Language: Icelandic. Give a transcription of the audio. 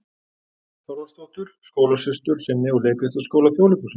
Þorvaldsdóttur, skólasystur sinni úr Leiklistarskóla Þjóðleikhússins.